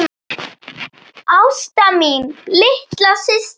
Ásta mín, litla systir mín.